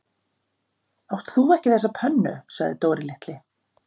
Átt þú ekki þessa pönnu? sagði Dóri litli.